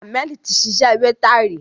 Hammed ti ṣiṣẹ́ wéétà rí.